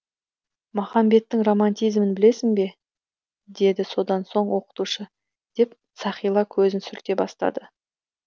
махамбеттің романтизмін білесің бе деді содан соң оқытушы деп сақила көзін сүрте бастады